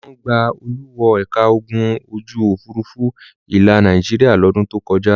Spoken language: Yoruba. Wọ́n gba Olú wọ ẹ̀ka ogun ojú-òfurufú ilẹ̀ Nàìjíríà lọ́dún tó kọjá.